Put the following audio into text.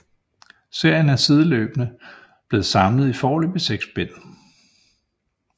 Serien er sideløbende blevet samlet i foreløbig 6 bind